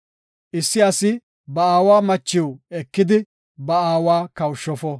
Issi asi ba aawa machiw ekidi, ba aawa kawushofo.